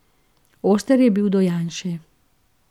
Oster je bil do Janše.